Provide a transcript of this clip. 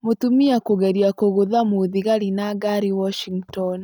Mũtumia kũgeria kũgũtha mũthigari na ngari Washington.